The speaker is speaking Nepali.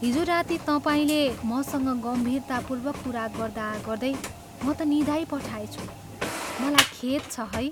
हिजो राति तपाईँले मसँग गम्भीरतापूर्वक कुरा गर्दागर्दै म त निदाइ पठाएछु, मलाई खेद छ है।